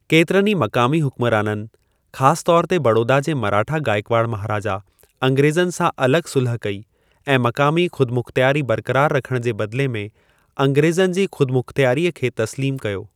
केतिरनि ई मक़ामी हुक्मराननि, ख़ासि तौर ते बड़ौदा जे मराठा गायकवाड़ महाराजा, अंग्रेज़नि सां अलॻि सुलह कई ऐं मक़ामी ख़ुदमुख़्तियारी बरक़रार रखण जे बदिले में अंग्रेज़नि जे ख़ुदमुख़्तियारीअ खे तस्लीमु कयो।